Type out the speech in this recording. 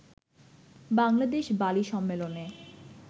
Bangladesh Bali সম্মেলনে